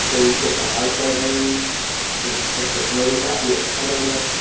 जो ऊँचे पहाड़ पर हए और इसका चश्मा भी काफी अच्छा लग रहा है।